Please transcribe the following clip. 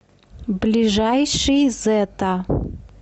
ближайший зэта